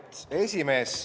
Austatud esimees!